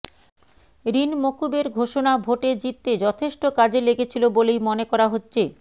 ঋণ মকুবের ঘোষণা ভোটে জিততে যথেষ্ট কাজে লেগেছিল বলেই মনে করা হচ্ছে